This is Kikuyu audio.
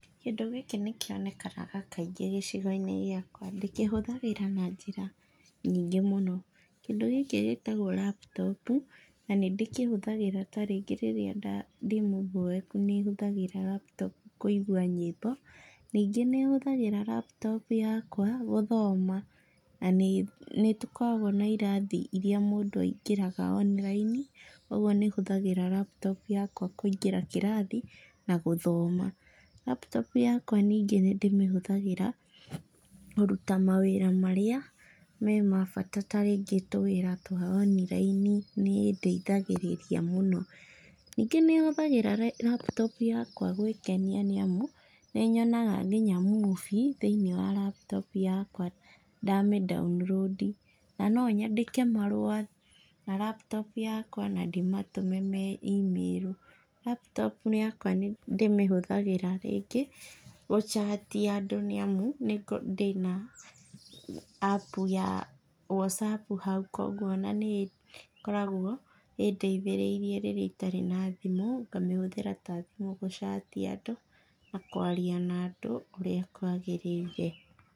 Kĩndũ gĩkĩ nĩkĩonekanaga kaingĩ gĩcĩgo-inĩ gĩakwa. Ndĩkĩhũthagĩra na njĩra nyingĩ mũno. Kĩndũ gĩkĩ gĩtagũo laptop na nĩ ndĩkĩhũthagĩra ta rĩngĩ rĩrĩa ndĩ mũboeku nĩ hũthagĩra laptop kũigua nyĩmbo. Nyingĩ nihũthagĩra laptop yakwa guthoma na nĩ tũkoragũo na irathi iria mũndũ aingĩraga online ũguo nihũthagĩra laptop yakwa kuingĩra kĩrathi na guthoma. Laptop yakwa nyingĩ nĩ ndĩmĩhũthagĩra kũruta mawĩra marĩa memabata tarĩngĩ tũwĩra twa online nĩ ĩndeithagĩrĩria mũno nyingĩ nihũthagĩra laptop yakwa gũĩkenia nĩ amu nĩ nyonaga nginya movie thiinĩ wa laptop yakwa ndamĩ download i. Na no nyandĩke marũa na laptop yakwa na ndĩmatũme marĩ email. Laptop yakwa ndĩmĩhũthagĩra rĩngĩ gũ chat andũ nĩ amu ndĩ na app ya Whatsapp hau koguo nĩ ĩkoragwo ĩndeithĩrairie rĩrĩa itari na thimũ ngamĩhũthĩra ta thimũ gũchat andũ na kũaria na andũ ũria kwagĩrĩire.